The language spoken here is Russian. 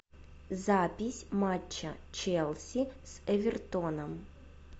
запись матча челси с эвертоном